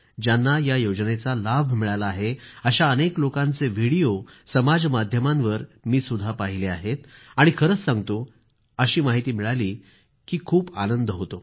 ज्यांना या योजनेचा लाभ मिळाला आहे अशा अनेक लोकांचे व्हिडिओ समाज माध्यमांवर मी सुद्धा पाहिले आहेत आणि खरंच सांगतो अशी माहिती मिळाली की खूप आनंद होतो